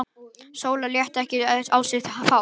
Sóla lét þetta ekki á sig fá.